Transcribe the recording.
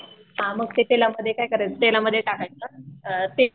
हां मग ते तेलामध्ये काय करायचं तेलामध्ये टाकायचं